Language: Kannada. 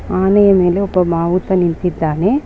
ಆನೆಯ ಮೇಲೆ ಒಬ್ಬ ಮಾವುತ ನಿಂತಿದ್ದಾನೆ.